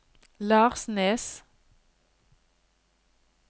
Larsnes